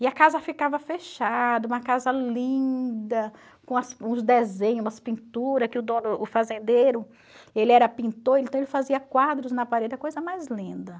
E a casa ficava fechada, uma casa linda, com as uns desenhos, umas pinturas, que o dono o fazendeiro ele era pintor, então ele fazia quadros na parede, a coisa mais linda.